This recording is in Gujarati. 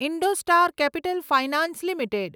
IndoStar Capital Finance limited